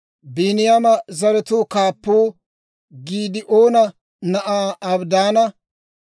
Biiniyaama zaratuu kaappuu Giidi'oona na'aa Abidaana.